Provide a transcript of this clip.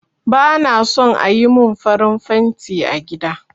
Ba na son ayi mun farin fenti a gida